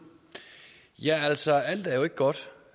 ja altså alt er jo ikke godt